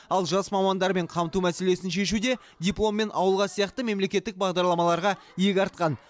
ал жас мамандармен қамту мәселесін шешуде дипломмен ауылға сияқты мемлекеттік бағдарламаларға иек артқан